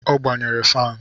O gbanyere fanụ